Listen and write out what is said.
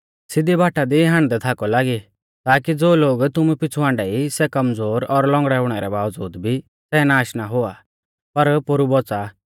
सिधी बाटा दी हांडदै थाकौ लागी ताकी ज़ो लोग तुमु पिछ़ु हाण्डा ई सै कमज़ोर और लौंगड़ै हुणै रै बावज़ूद भी सै नाष ना हुआ पर पोरु बौच़ा